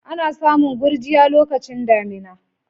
Ana samun gurjiya lokacin damina.